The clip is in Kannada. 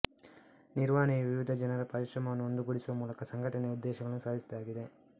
ನಿರ್ವಹಣೆಯು ವಿವಿಧ ಜನರ ಪರಿಶ್ರಮವನ್ನು ಒಂದುಗೂಡಿಸುವ ಮೂಲಕ ಸಂಘಟನೆಯ ಉದ್ದೇಶಗಳನ್ನು ಸಾಧಿಸುವುದಾಗಿದೆ